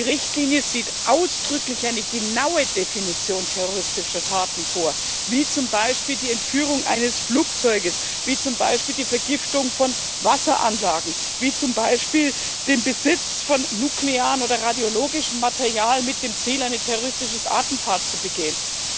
Die Richtlinie sieht ausdrücklich eine genaue Definition terroristischer Taten vor, wie zum Beispiel die Entführung eines Flugzeugs, wie zum Beispiel die Vergiftung von Wasseranlagen, wie zum Beispiel den Besitz von nuklearem oder radiologischem Material mit dem Ziel, ein terroristisches Attentat zu begehen.